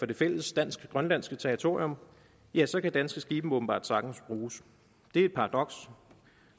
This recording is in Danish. det fælles dansk grønlandske territorium ja så kan danske skibe åbenbart sagtens bruges det er et paradoks